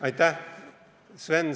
Aitäh!